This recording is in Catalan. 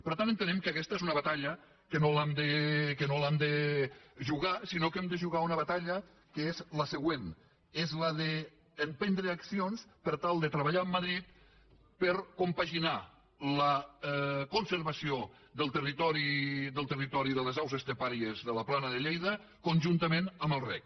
per tant entenem que aquesta és una batalla que no l’hem de jugar sinó que hem de jugar una batalla que és la següent és la d’emprendre accions per tal de treballar amb madrid per compaginar la conservació del territori de les aus estepàries de la plana de lleida conjuntament amb el reg